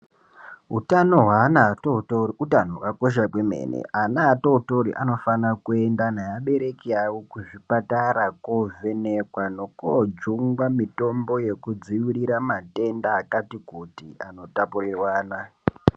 Hutano hweana atotori hutano hwakakosha kwemene. Ana atotori anofana kuenda neabereki avo kuzvipatara kovhenekwa nokojungwa mitombo yekudzirira matenda akati kuti anotapurirwana.